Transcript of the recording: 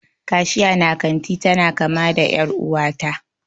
Kashiya na kanti tana kama da er'uwa ta.